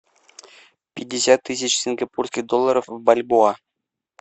пятьдесят тысяч сингапурских долларов в бальбоа